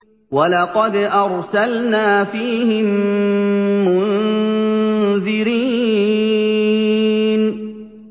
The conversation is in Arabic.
وَلَقَدْ أَرْسَلْنَا فِيهِم مُّنذِرِينَ